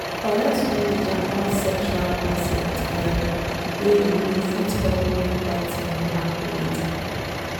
correct knowledge about sexual consent um way you know fit help make bad thing no happen later.